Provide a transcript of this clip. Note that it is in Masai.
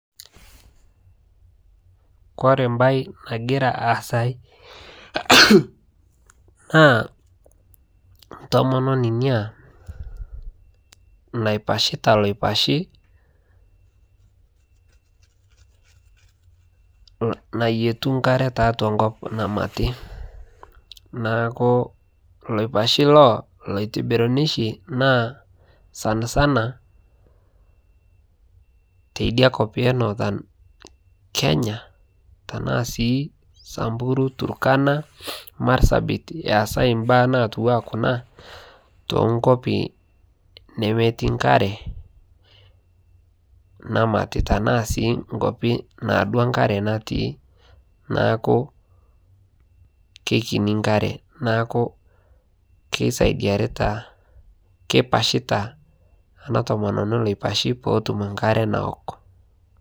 kore mbai nagiraa aasayuu naa ntomononii inia naipashitaa loipashii nayietuu nkaree taatua nkop namatii. Naaku laipashii loo loitibirunii shi sansanaa teidia kop ee nothern Kenya tanaa sii samburu turkana marsabit eesai mbaa natuwaa kunaa tooh nkopii nemetii nkaree namati tanaa sii nkopii naadua nkaree natii naaku keikinii nkaree naaku keisaidiaritaa keipashitaa ana tomononii loipashi pootum nkaree nawok